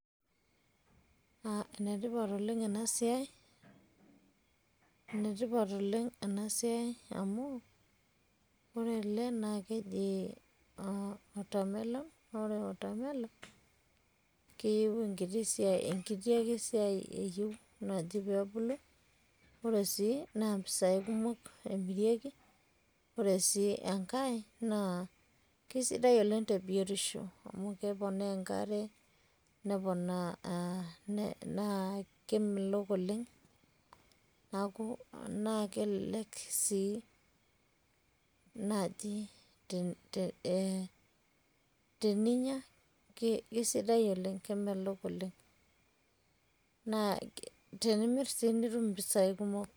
enetipat oleng ena siai amu ore ele naa keji watermelon, naa ore watermelon enkiti siai eyieu naaji peee ebulu, naa mpisai kumok emirieki. ore enkae keisidai oleng te biotisho, keponaa enkare, neponaa, naa kemelok oleng. naa kelelek sii naji teninyia, keisidai oleng, kemelok oleng. naa tenimir sii nitum impisai kumok.